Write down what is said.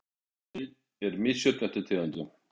Hækkunin er misjöfn eftir tegundum